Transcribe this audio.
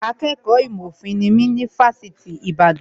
Akẹ́kọ̀ọ́ ìmọ̀ òfin nimí ní Fásitì Ìbàdàn